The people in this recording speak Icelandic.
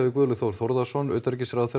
Guðlaug Þór Þórðarson utanríkisráðherra